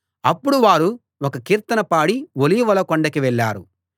అప్పుడు వారు ఒక కీర్తన పాడి ఒలీవల కొండకి వెళ్ళారు